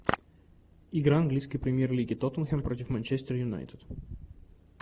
игра английской премьер лиги тоттенхэм против манчестер юнайтед